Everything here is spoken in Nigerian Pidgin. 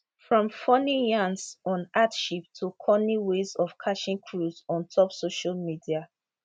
from funny yarns on hardship to cunny ways of catching cruise on top social media